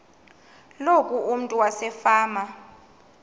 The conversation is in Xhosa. loku umntu wasefama